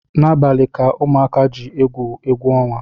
N’abalị ka ụmụka ji egwu egwuọnwa